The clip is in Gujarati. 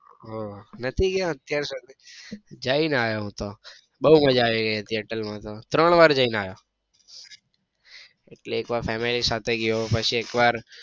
હમ્મ નથી ગયા અત્યારે સુધી જઈ ને આયો હું તો બઉ મજા આવી ગઈ તી અટલ માં તો ત્રણ વાર જઈ ને આયો એટલે એક વાર family સાથે ગયો પછી એક વાર